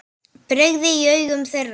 brigði í augum þeirra.